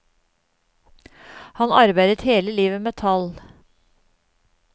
Han arbeidet hele livet med tall.